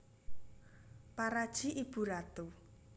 Paraji ibu ratu